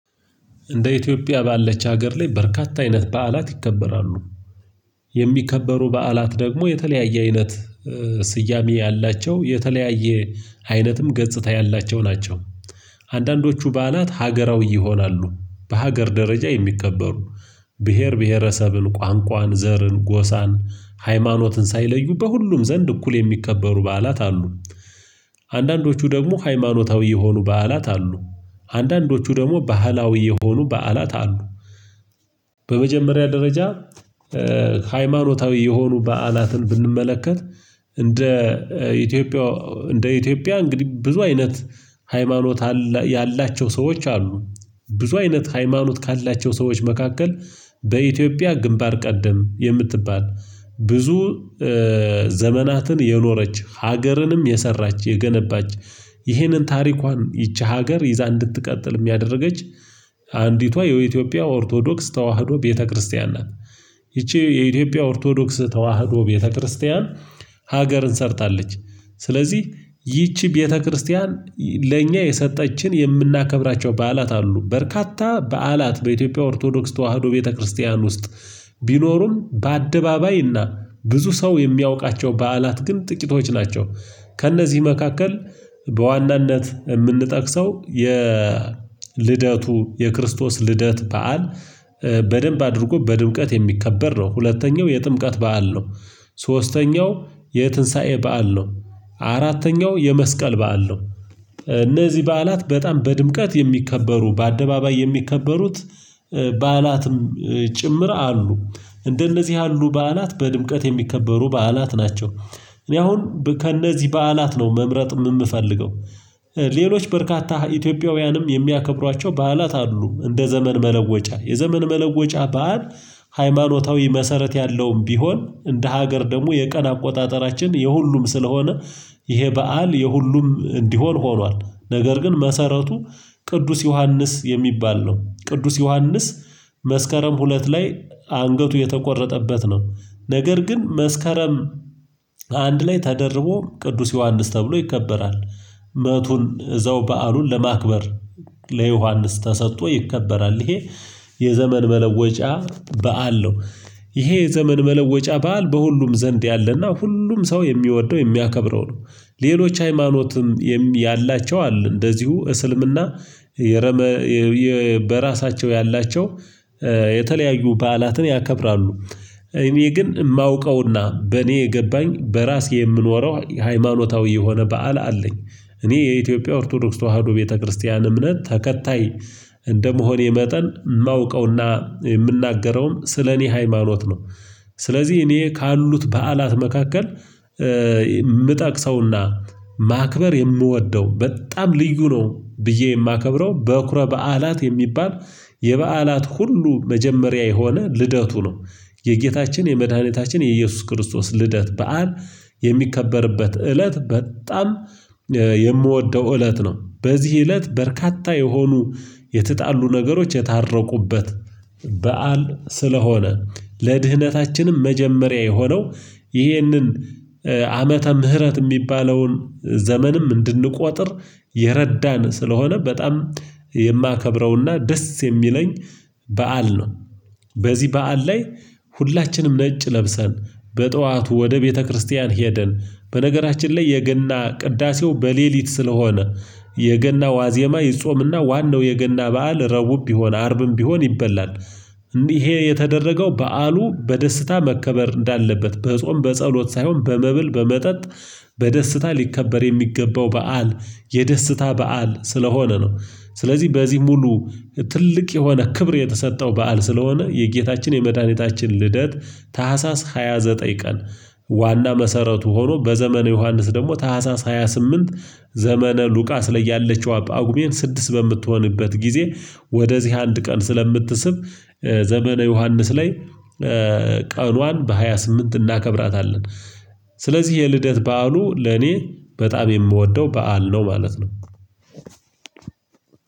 እንደ ኢትዮጵያ ባለች ሀገር ላይ በርካታ አይነት በዓላት ይከበራሉ። የሚከበሩ በዓላት ደግሞ የተለያየ አይነት ስያሜ ያላቸው የተለያየ አይነትም ገጽታ ያላቸው ናቸው። አንዳንዶቹ በዓላት ሀገራዊ ይሆናሉ በሀገር ደረጃ የሚከበሩ ብሄር ብሄረሰብን ቋንቋን ዘርን ጎሳን ሃይማኖትን ሳይለዩ በሁሉም ዘንድ እኩል የሚከበሩ በዓላት አሉ። አንዳንዶቹ ደግሞ ሃይማኖታዊ የሆኑ በዓላት አሉ። አንዳንዶቹ ደግሞ ባህላዊ የሆኑ በዓላት አሉ። በመጀመሪያ ደረጃ ሃይማኖታዊ የሆኑ በዓላትን ብንመለከት። እንደ ኢትዮጵያ እንደ ኢትዮጵያ እንግዲህ ብዙ አይነት ሃይማኖት አላ ያላቸው ሰዎች አሉ። ብዙ አይነት ሃይማኖት ካላቸው ሰዎች መካከል በኢትዮጵያ ግንባር ቀደም የምትባል ብዙ ዘመናትን የኖረች ሀገርንም የሰራች የገነባች ይህንን ታሪኳን ይቺ ሀገር ይዛ እንድትቀጥልም ያደርገች አንዲቷ የኢትዮጵያ ኦርቶዶክስ ተዋህዶ ቤተክርስቲያን ናት። ይቺ የኢትዮጵያ ኦርቶዶክስ ተዋህዶ ቤተክርስቲያን ሀገርን ሰርታለች። ስለዚህ ይቺ ቤተክርስቲያን ለእኛ የሰጠችን የምናከብራቸው በዓላት አሉ በርካታ በዓላት በኢትዮጵያ ኦርቶዶክስ ተዋህዶ ቤተክርስቲያን ውስጥ ቢኖሩም በአደባባይና ብዙ ሰው የሚያውቃቸው በዓላት ግን ጥቂቶች ናቸው። ከእነዚህ መካከል በዋናነት የምንጠቅሰው የልደቱ የክርስቶስ ልደት በዓል በደንብ አድርጎ በድምቀት የሚከበር ነው። ሁለተኛው የጥምቀት በዓል ነው። ሶስተኛው የትንሳኤ በዓል ነው። አራተኛው የመስቀል በዓል ነው። እነዚህ በዓላት በጣም በድምቀት የሚከበሩ በአደባባይ የሚከበሩት በዓላትም ጭምር አሉ እንደነዚህ ያሉ በዓላት በድምቀት የሚከበሩ በዓላት ናቸው። እኔ አሁን ከእነዚህ በዓላት ነው መምረጥም ምፈልገው። ሌሎች በርካታ ኢትዮጵያውያንም የሚያከብሯቸው በዓላት አሉ እንደ ዘመን መለወጫ የዘመን መለወጫ በዓል። ሃይማኖታዊ መሰረት ያለውም ቢሆን እንደ ሀገር ደግሞ የቀን አቆጣጠራችን የሁሉም ስለሆነ ይሄ በዓል የሁሉም እንዲሆን ሆኗል። ነገር ግን መሰረቱ ቅዱስ ዮሐንስ የሚባል ነው። ቅዱስ ዮሐንስ መስከረም ሁለት ላይ አንገቱ የተቆረጠበት ነው። ነገር ግን መስከረም አንድ ላይ ተደርቦ ቅዱስ ዮሐንስ ተብሎ ይከበራል። መቱን እዘው በዓሉን ለማክበር ለዮሐንስ ተሰጥቶ ይከበራል ይሄ። የዘመን መለወጫ በዓል ነው። ይሄ የዘመን መለወጫ በዓል በሁሉም ዘንድ ያለና ሁሉም ሰው የሚወደው የሚያከብረው ነው። ሌሎች ሃይማኖትም ያላቸው አለ እንደዚሁ እስልምና የረመ በራሳቸው ያላቸው የተለያዩ በዓላትን ያከብራሉ። እኔ ግን የማውቀውና በእኔ የገባኝ በራሴ የምኖረው ሃይማኖታዊ የሆነ በዓል አለኝ። እኔ የኢትዮጵያ ኦርቶዶክስ ተዋህዶ ቤተክርስቲያን እምነት ተከታይ እንደመሆኔ መጠን የማውቀውና የምናገረውም ስለኔ ሃይማኖት ነው። ስለዚህ እኔ ካሉት በዓላት መካከል የምጠቅሰውና ማክበር የምወደው በጣም ልዩ ነው ብዬ የማከብረው በኩረ በዓላት የሚባል የበዓላት ሁሉ መጀመሪያ የሆነ ልደቱ ነው። የጌታችን የመድኃኒታችን የኢየሱስ ክርስቶስ ልደት በዓል የሚከበርበት እለት በጣም የምወደው እለት ነው በዚህ እለት በርካታ የሆኑ የተጣሉ ነገሮች የታረቁበት በዓል ስለሆነ ለድህነታችንም መጀመሪያ የሆነው ይህንን ዓመተ ምህረት የሚባለውን ዘመንም እንድንቆጥር የረዳን ስለሆነ በጣም የማከብረውና ደስ የሚለኝ በዓል ነው። በዚህ በዓል ላይ ሁላችንም ነጭ ለብሰን በጧቱ ወደ ቤተክርስቲያን ሄደን በነገራችን ላይ የገና ቅዳሴው በሌሊት ስለሆነ የገና ዋዜማ ይጾምና ዋናው የገና በዓል ረቡም ቢሆን አርብም ቢሆን ይበላል። ይሄ የተደረገው በዓሉ በደስታ መከበር እንዳለበት በጾም በጸሎት ሳይሆን በመብል በመጠጥ በደስታ ሊከበር የሚገባው በዓል የደስታ በዓል ስለሆነ ነው። ስለዚህ በዚህ ሙሉ ትልቅ የሆነ ክብር የተሰጠው በዓል ስለሆነ የጌታችን የመድኃኒታችን ልደት ታህሳስ ሃያ ዘጠኝ ቀን ዋና መሰረቱ ሆኖ በዘመነ ዮሐንስ ደግሞ ታህሳስ ሃያ ስምንት ዘመነ ሉቃስ ላይ ያለችዋ ጳጉሜን ስድስት በምትሆንበት ጊዜ ወደዚህ አንድ ቀን ስለምትስብ ዘመነ ዮሐንስ ላይ ቀኗን በሃያ ስምንት እናከብራታለን። ስለዚህ የልደት በዓሉ ለኔ በጣም የምወደው በዓል ነው ማለት ነው።